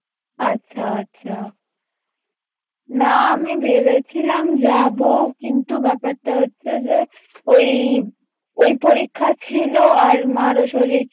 আচ্ছা আচ্ছা না আমি ভেবেছিলাম যাবো কিন্তু ব্যাপারটা হচ্ছে যে ওই ওই পরীক্ষা ছিলো আর মারও শরীর